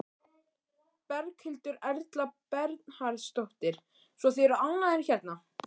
Berghildur Erla Bernharðsdóttur: Svo þið eru ánægðir hérna?